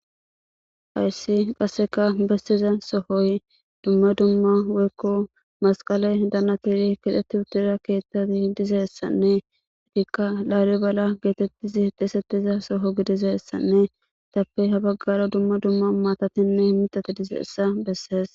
hayssi qasseka bessiza sohoy dumma dumma woykko masqale danatiri kidheti uttira keettati dizeessanne idikka laaliy bala geetettizi hexeesetiza soho gidizessanne itappe habaggara dumma dumma maatatinne mitati dizeessa bessees